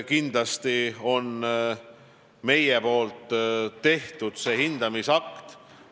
Kindlasti on see hindamisakt meie tehtud.